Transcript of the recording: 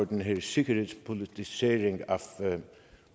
den her sikkerhedspolitisering af